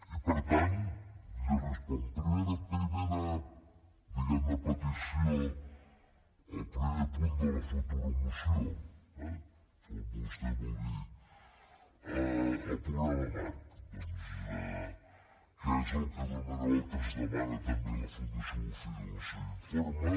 i per tant jo li responc primera diguem ne petició al primer punt de la futura moció eh com vostè vulgui el programa marc doncs que és el que d’una manera o altra ens demana també la fundació bofill en el seu informe